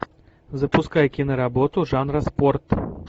запускай киноработу жанра спорт